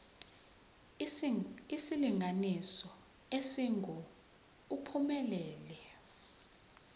isilinganiso esingu uphumelele